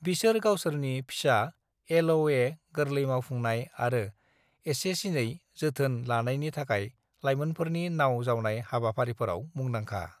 "बिसोर गावसोरनि फिसा एल.अ'.ए, गोरलै मावफुंनाय आरो एसेसिनै जोथोन लानायनि थाखाय लायमोनफोरनि नाउ जावनाय हाबाफारिफोराव मुंदांखा।"